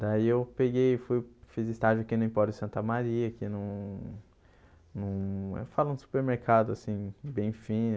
Daí eu peguei e fui fiz estágio aqui no Emporio Santa Maria, aqui num num... Eu falo do supermercado, assim, bem fino.